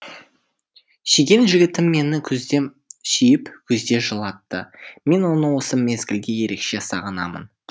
сүйген жігітім мені күзде сүйіп күзде жылатты мен оны осы мезгілде ерекше сағынамын